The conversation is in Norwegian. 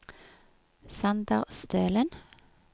Sander Stølen